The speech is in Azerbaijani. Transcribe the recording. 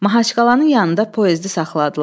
Mahaçqalanın yanında poezdi saxladılar.